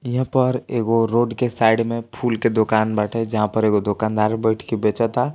यहाँ पर एक रोड के साईड में फूल के दुकान बाटे जहाँ पर एक दुकानदार बैठ के बेचता।